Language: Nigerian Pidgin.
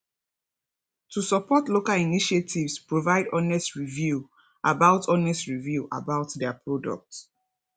to support local initiatives provide honest review about honest review about their product